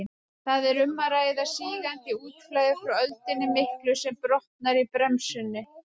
Þar er um að ræða sígandi útflæði frá öldunni miklu sem brotnar í brennunni.